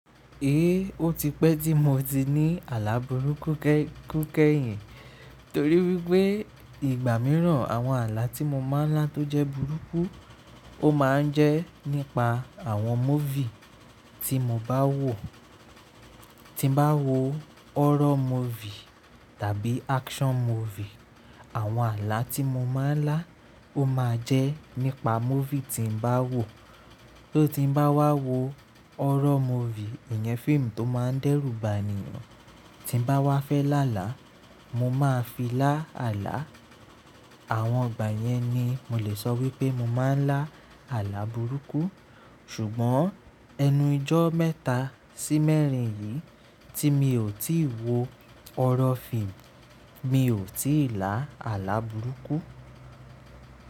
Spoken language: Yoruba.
Ee, ó ti pẹ́ tí mo ti ní àlà burúkú kẹ́- kẹ́yìn. Torí wípé ìgbà mìíràn àwọn àlà tí mo máa ń lá tó jẹ́ burúkú, ó máa ń jẹ́ nípa àwọn movie tí mo bá wò. Tí bá wo horror movie tàbí action movie, àwọn àlà tí mo máa ń lá ó máa jẹ́ nípa movie tí ń bá wò. Tó ti ń bá wá wo horror movie, ìyẹn fíìmù tó máa ń dẹ́rùba ènìyàn, tí ń bá wá fẹ́ lá là, mo máa fi lá àlà. Àwọn ìgbà yẹn ni mo lè sọ wípé mo máa ń lá àlà burúkú. Ṣùgbọ́n ẹnu ìjọ mẹ́ta sí mẹ́rin yìí tí mi ò tíì wo horror fíìmù, mi ò tí ì lá àlà burúkú.